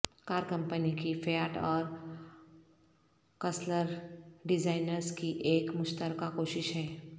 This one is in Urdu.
کار کمپنی کی فیاٹ اور کرسلر ڈیزائنرز کی ایک مشترکہ کوشش ہے